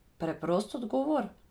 Preprost odgovor?